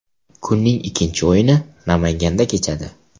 Kunning ikkinchi o‘yini Namanganda kechadi.